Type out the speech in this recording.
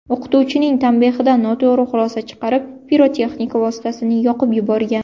o‘qituvchining tanbehidan noto‘g‘ri xulosa chiqarib, pirotexnika vositasini yoqib yuborgan.